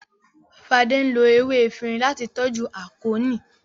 Fade nlo ewé Efinrin lati toju Akonni.